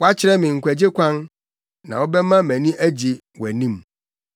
Woakyerɛ me nkwagye kwan; na wobɛma mʼani agye wɔ wʼanim.